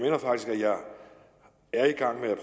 er i gang med at